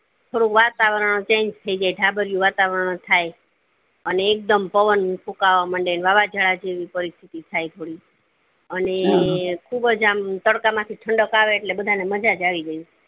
થોડુક વાતાવરણ change થય જાય ધાબરીયું વાતાવરણ થાય અને એક દમ પવન ફૂકાવા માંડે ને વાવાજોડા જેવી પરીસ્તીતી થાય થોડી અને ખુબજ આમ તડકા માંથી ઠંડક આવે એટલે બધા ને મજાજ આવી જાય